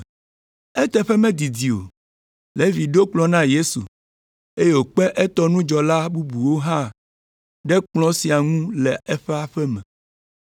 Eteƒe medidi o, Levi ɖo kplɔ̃ na Yesu, eye wòkpe etɔ nudzɔla bubuwo hã ɖe kplɔ̃ sia ŋu le eƒe aƒe me.